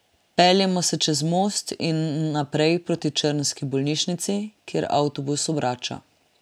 Peljemo se čez most in naprej proti črnski bolnišnici, kjer avtobus obrača.